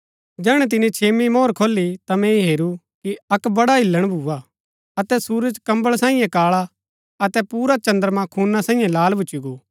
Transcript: जैहणै तिनी छेम्मी मोहर खोली ता मैंई हेरू कि अक्क बड्डा हिल्‍लण भूआ अतै सुरज कम्बल सांईये काळा अतै पुरा चद्रमां खूना सांईये लाल भूच्ची गो